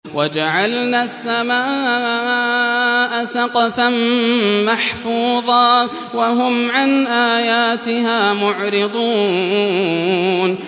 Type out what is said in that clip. وَجَعَلْنَا السَّمَاءَ سَقْفًا مَّحْفُوظًا ۖ وَهُمْ عَنْ آيَاتِهَا مُعْرِضُونَ